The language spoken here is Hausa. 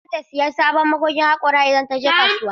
Mahaifiyata za ta sayi sabon magogin haƙora idan ta je kasuwa.